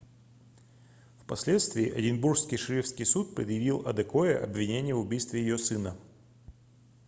впоследствии эдинбургский шерифский суд предъявил адекое обвинение в убийстве ее сына